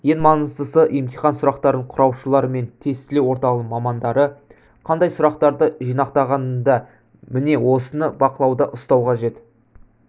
ең маңыздысы емтихан сұрақтарын құраушылар мен тестілеу орталығының мамандары қандай сұрақтарды жинақтағанында міне осыныбақылауда ұстау қажет